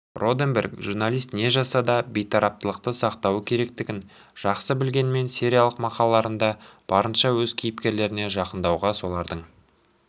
роденберг журналист не жазса да бейтараптықты сақтауы керектігін жақсы білгенімен сериялық мақалаларында барынша өз кейіпкерлеріне жақындауға солардың